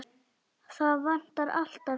Það vantar alltaf kennara hérna.